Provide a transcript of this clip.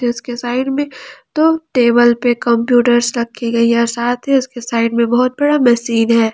इसके साइड में दो टेबल पे कंप्यूटर्स रखी गई है साथ ही इसकी साइड में बहुत बड़ा मशीन है।